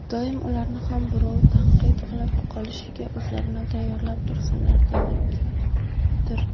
doim ularni ham birov tanqid qilib qolishiga o‘zlarini tayyorlab tursinlar, demakdir.